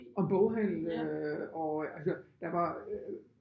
Og en boghandel øh og altså der var øh